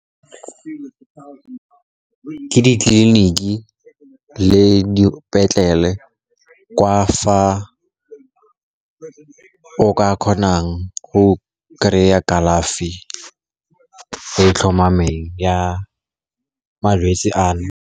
Ke ditleliniki le dipetlele kwa fa o ka kgonang go kry-a kalafi e tlhomameng ya malwetsi a no.